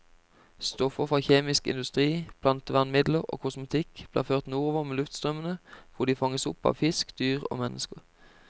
Stoffer fra kjemisk industri, plantevernmidler og kosmetikk blir ført nordover med luftstrømmene, hvor de fanges opp av fisk, dyr og mennesker.